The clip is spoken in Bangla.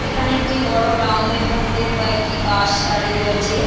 এখানে একটি বড় গ্রাউন্ডের মধ্যে কয়েকটি বাস দাঁড়িয়ে রয়েছে।